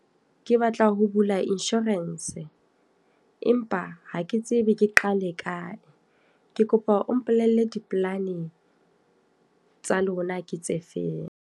Ke batla ho bula insurance. Empa ha ke tsebe ke qale kae. Ke kopa o mpolelle di-planning tsa lona ke tse feng?